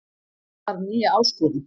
Þarf nýja áskorun